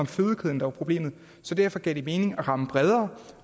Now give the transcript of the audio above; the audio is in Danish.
fødekæden der var problemet derfor gav det mening at ramme bredere og